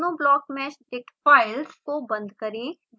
दोनों blockmeshdict files को बंद करें